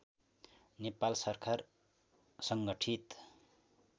नेपाल सरकार सङ्गठित